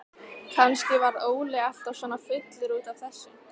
Kannski varð Óli alltaf svona fullur út af þessu.